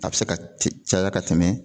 A bɛ se ka te caya ka tɛmɛ